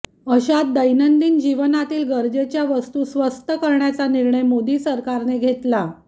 अशात दैनंदिन जीवनातील गरजेच्या वस्तू स्वस्त करण्याचा निर्णय मोदी सरकारने घेतला